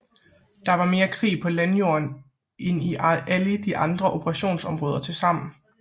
Der var mere krig på landjorden end i alle de andre operationsområder tilsammen